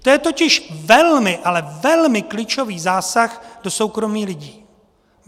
To je totiž velmi, ale velmi klíčový zásah do soukromí lidí.